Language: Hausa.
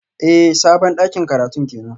Eh sabon dakin karatun kenan